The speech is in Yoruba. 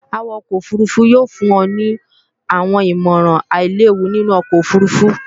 Awakọ òfurufú yóò fún ọ ní àwọn ìmọ̀ràn àílewu nínú ọkọ̀ òfurufú